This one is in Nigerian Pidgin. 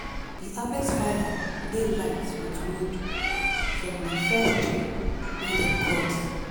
di harvest fire dey light with wood from di first tree wey dem cut.